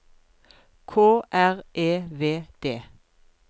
K R E V D